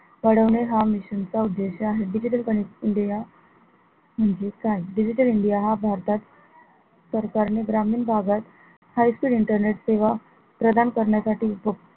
वाढवणे हा mission चा उद्देश्य आहे digital connect india म्हणजे काय digital india हा भारतात सरकार ने ग्रामीण भागात high speed internet सेवा प्रदान करण्यासाठी